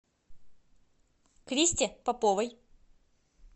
кристе поповой